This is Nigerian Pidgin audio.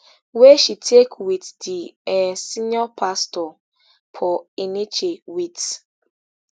wey she take wit di um senior pastor paul enenche wit